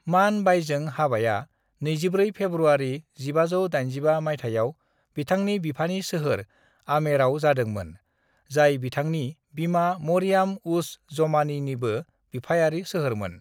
"मान बाईजों हाबाया 24 फेब्रुआरि 1585 माइथायाव बिथांनि बिफानि सोहोर आमेराव जादोंमोन, जाय बिथांनि बिमा मरियाम-उज-जमानीनिबो बिफायारि सोहोरमोन।"